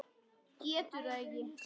Getur það ekki.